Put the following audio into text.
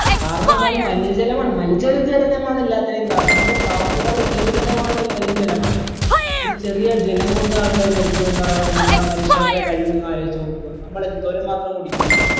കാരണെന്താണീ മലിന ജലമാണ് മലിജല ജലമാണ് എല്ലാത്തിനും കാരണം നമ്മുടെ പാവപ്പെട്ടവർടെ ജീവിതം തന്നെ പോണത് മലിന ജലാണ് ഒരു ചെറിയ ജലം കൊണ്ട് ആൾക്കാർ മരിച്ചു പോന്ന് പറയാൻ നേരം നമ്മുടെ മനുഷ്യർടെ കഴിവ് നിങ്ങൾ ആലോചിച്ചോക്ക് നമ്മൾ എന്തോരം മാത്രം കുടിക്കുന്നു